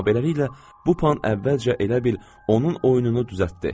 Amma beləliklə, bu pan əvvəlcə elə bil onun oyununu düzəltdi.